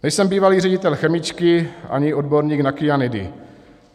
Nejsem bývalý ředitel chemičky ani odborník na kyanidy.